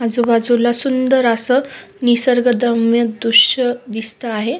आजूबाजूला सुंदर अस निसर्गद्रम्य दृश्य दिसत आहे.